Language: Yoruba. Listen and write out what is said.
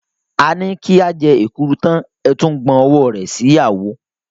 A ní ká jẹ èkuru tán, a tún gbàn owó sí àwo.